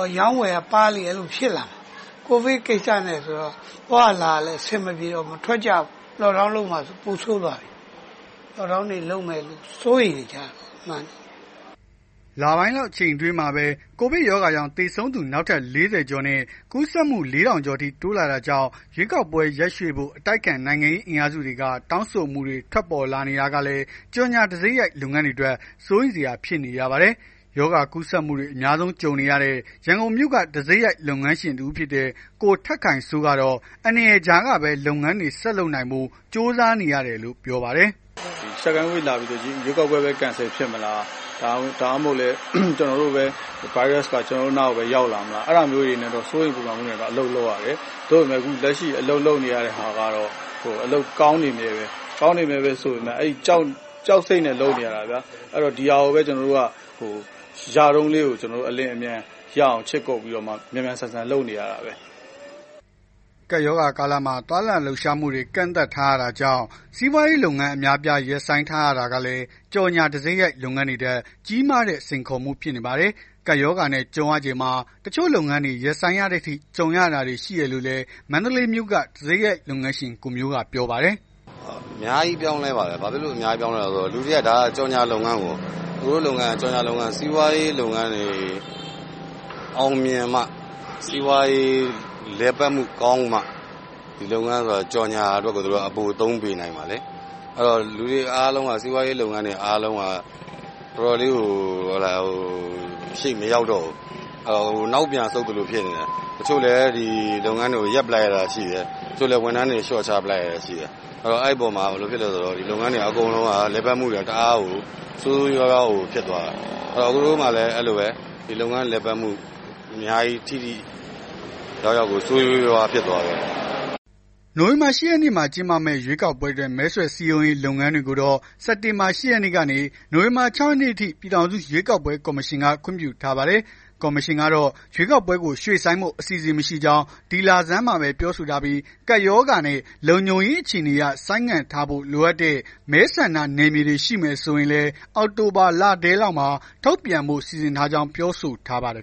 အရောင်း အဝယ်ကပါးလေ အဲ့လိုဖြစ်နေတာ။ COVID ကိစ္စနဲ့ဆိုတော့ သွားရလာရ အဆင်မပြေတော့ဘူး။ မထွက် ကြတော့ဘူး။ Lockdown လုပ်မှာဆိုတော့ ပိုဆိုးသွားပြီ။ Lockdown လုပ်တယ် စိုးရိမ်နေကြတာပေါ့။” လပိုင်းလောက် အချိန်တိုအတွင်းမှာပဲ ကိုဗစ်ရောဂါကြောင့် သေဆုံးသူ နောက်ထပ် ၄၀ ကျော်နဲ့ ကူးစက်မှု ၄ ထောင်လောက်အထိ တိုးလာတာကြောင့် ရွေးကောက်ပွဲ ရက်ရွှေ့ဖို့ အတိုက်အခံ နိုင်ငံရေးအင်အားစုတွေက တောင်းဆိုမှုတွေ ထွက်ပေါ်လာနေတာကလည်း ကြော်ငြာတံဆိပ်ရိုက် လုပ်ငန်းရှင်တွေအတွက် စိုးရိမ်စရာ ဖြစ်နေရပါတယ်။ ရောဂါကူးစက်မှုတွေ အများဆုံး ကြုံနေရတဲ့ ရန်ကုန်မြို့က တံဆိပ်ရိုက် လုပ်ငန်းရှင်တစ်ဦးဖြစ်တဲ့ ကိုထက်ခိုင်စိုးကတော့ အန္တရာယ်ကြားကပဲ လုပ်ငန်းတွေ ဆက်လုပ်နိုင်ဖို့ ကြိုးစားနေရတယ်လို့ ပြောပါတယ်။ “Second Wave လာပြီဆိုတော့ ရွေးကောက်ပွဲပဲ Cancel ဖြစ်မလား။ ဒါမှမဟုတ် ဗိုင်းရပ်က ကျွန်တော်တို့ အနားပဲရောက်လာမလား။ အဲ့ဒါမျိုးတွေ စိုးရိမ်ပူပန်မှုတွေနဲ့ အလုပ်လုပ်ရတယ်။ လက်ရှိအလုပ်လုပ်နေရတာ ကကောင်းနေမြဲပဲ။ ကောင်းနေမြဲဆိုပေမယ့် ကြောက်စိတ်နဲ့ လုပ်နေရတာ ဒီဟာကိုပဲ ရတုန်းလေး အလျင်အမြန် ခြစ်ကုတ်ပြီး မြန်မြန်ဆန်ဆန် လုပ်နေရတာ။” ကပ်ရောဂါကာလမှာ သွားလာလှုပ်ရှားမှုတွေ ကန့်သတ်ထားရတာကြောင့် စီးပွားရေးလုပ်ငန်း အများအပြား ရပ်ဆိုင်းထားရတာကလည်း ကြော်ငြာတံဆိပ်ရိုက်လုပ်ငန်းတွေအတွက် ကြီးမားတဲ့ စိန်ခေါ်မှုတခုဖြစ်နေပါတယ်။ ကပ်ရောဂါနဲ့ ကြုံရချိန်မှာ တချို့လုပ်ငန်းတွေ ရပ်ဆိုင်းရတဲ့အထိ ကြုံရတာတွေ ရှိတယ်လို့လည်း မန္တလေးမြို့က တံဆိပ်ရိုက်လုပ်ငန်းရှင် ကိုမျိုးကပြောပါတယ်။ “အများကြီးပြောင်းလဲပါတယ်။ လူတွေက ဒါက ကြော်ငြာလုပ်ငန်းကို အကိုတို့လုပ်ငန်းက ကြော်ငြာလုပ်ငန်း စီးပွား ရေးလုပ်ငန်းတွေ အောင်မြင်မှ စီးပွားရေး လုပ်ငန်းတွေ လည်ပတ်မှုကောင်းမှ ဒီလုပ်ငန်း ကြော်ငြာအတွက် ပိုသုံး ပေးနိုင်မှာလေ။ လူတွေအားလုံးက စီးပွားရေးလုပ်ငန်းတွေ အားလုံးက ရှေ့မရောက်တော့ဘူး နောက်ပြန် ဆုတ် သလိုဖြစ်နေတယ်။ တချို့လည်း ဒီလုပ်ငန်းတွေကို ရပ်ပလိုက်ရတာရှိတယ်။ တချို့လည်း ဝန်ထမ်းတွေ လျော့ချ လိုက်ရတာရှိတယ်။ အဲ့တော့ ဒီလုပ်ငန်း လည်ပတ်မှုတွေက တအားကို ဆိုးဆိုးရွားရွားကို ဖြစ်သွားတာ။ အကိုတို့မှာလည်း အဲ့လိုပဲ ဒီလုပ်ငန်းလည်မှုမှာ ဆိုးဆိုးရွားရွား ဖြစ်သွားတယ်။” နိုဝင်ဘာ ၈ ရက်နေ့မှာ ကျင်းပမယ့် ရွေးကောက်ပွဲအတွက် မဲဆွယ်စည်းရုံးရေး လုပ်ငန်းတွေကိုတော့ စက်တင်ဘာလ ၈ ရက်နေ့ကနေ နိုဝင်ဘာလ ၆ ရက်နေ့အထိ ပြည်ထောင်စုရွေးကောက်ပွဲ ကော်မရှင်က ခွင့်ပြုထားပါတယ်။ ကော်မရှင်ကတော့ ရွေးကောက်ပွဲကို ရွှေ့ဆိုင်းဖို့ အစီအစဉ်မရှိကြောင်း ဒီလဆန်းမှာပဲ ပြောဆိုထားပြီး ကပ်ရောဂါနဲ့ လုံခြုံရေးအခြေအနေအရ ဆိုင်းငံ့ထားဖို့ လိုအပ်တဲ့ မဲဆန္ဒနယ်မြေတွေ ရှိမယ်ဆိုရင်လည်း အောက်တိုဘာလထဲလောက်မှာ ထုတ်ပြန်ဖို့ စီစဉ်ထားကြောင်း ပြောဆိုထားပါတယ်